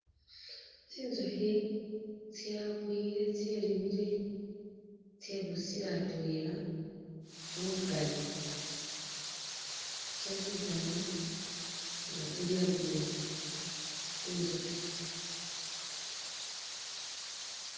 Tsinzukhi tsakwile tse ribwile tsebusile atwela mubukali tsositsana nga tsili adwela tsinzushi.